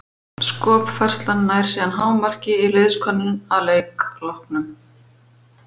Skopfærslan nær síðan hámarki í liðskönnun að leik loknum.